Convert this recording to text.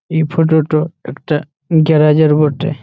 এই ফটো টো একটা গেরাজ - এর বটে --